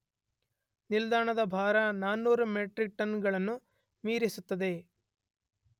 ನಿಲ್ದಾಣದ ಭಾರ 400 metric ton ಗಳನ್ನು ಮೀರಿಸುತ್ತದೆ.